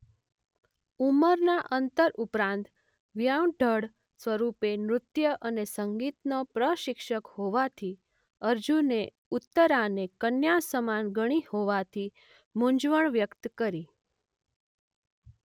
ઉંમરના અંતર ઉપરાંત વ્યંઢળ સ્વરૂપે નૃત્ય અને સંગીતનો પ્રશિક્ષક હોવાથી અર્જુને ઉત્તરાને કન્યા સમાન ગણી હોવાથી મૂંઝવણ વ્યક્ત કરી.